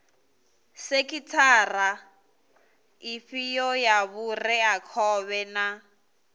sekhithara ifhio ya vhureakhovhe na